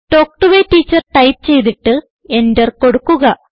talk to A teacher type ചെയ്തിട്ട് enter കൊടുക്കുക